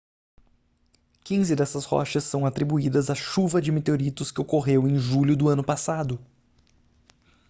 quinze dessas rochas são atribuídas à chuva de meteoritos que ocorreu em julho do ano passado